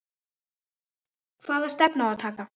Hvaða stefnu á að taka?